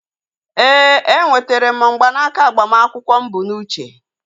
Ee, e nwetere m mgbanaka agbamakwụkwọ mụ bụ n'uche